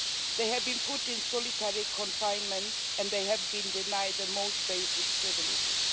They have been put in solitary confinement and they have been denied the most basic privileges.